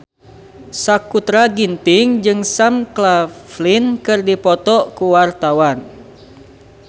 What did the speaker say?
Sakutra Ginting jeung Sam Claflin keur dipoto ku wartawan